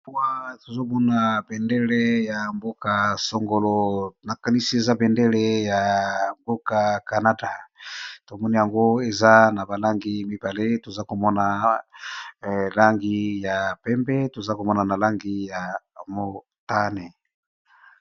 wa tozomona bendele ya mboka sangolo nakanisi eza bendele ya mboka canada tomona yango eza na balangi mibale toza komona langi ya pembe toza komona na langi ya motane